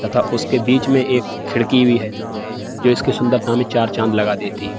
तथा उसके बीच में एक खिड़की भी है जो इसके सुंदरता में चार चाँद लगा देती है।